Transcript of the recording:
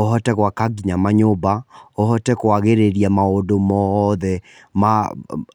ũhote gwaka nginya manyũmba, ũhote kũagĩrĩria maũndũ mothe ma